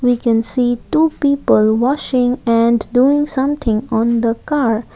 we can see two people washing and doing something on the car.